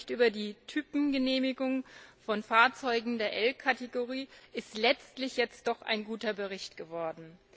Der Bericht über die Typengenehmigung von Fahrzeugen der L Kategorie ist letztlich jetzt doch ein guter Bericht geworden.